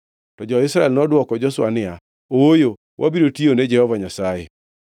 To jo-Israel nodwoko Joshua niya, “Ooyo! Wabiro tiyone Jehova Nyasaye.”